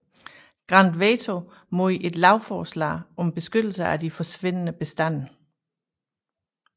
Grant veto mod et lovforslag om beskyttelse af de forsvindende bestande